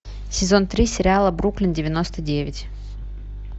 сезон три сериала бруклин девяносто девять